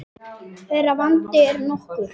Þeirra vandi er nokkur.